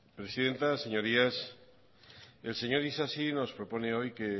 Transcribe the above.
presidenta señorías el señor isasi nos propone hoy que